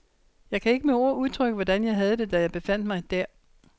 Jeg kan ikke med ord udtrykke, hvordan jeg havde det, da jeg befandt mig der.